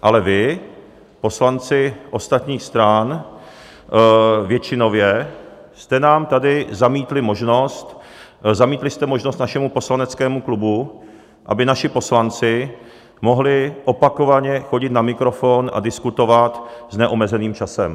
Ale vy, poslanci ostatních stran většinově, jste nám tady zamítli možnost, zamítli jste možnost našemu poslaneckému klubu, aby naši poslanci mohli opakovaně chodit na mikrofon a diskutovat s neomezeným časem.